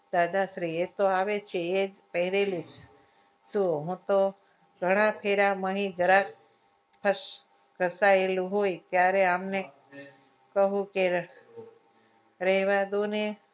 દાદાશ્રી એ તો આવે છે એ જ પહેરેલું શું હું તો જરા ફેરામાંથી જરાક ખસ કપાયેલું હોય ત્યારે એમને કહું કે રહેવા દો ને